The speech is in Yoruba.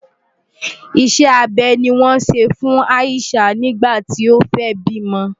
Ìṣe abẹ ni wọ́n ṣe fún Ayishah nígbà tí ó fẹ́ bímọ.